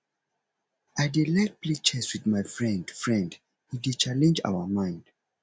i dey like play chess wit my friend friend e dey challenge our mind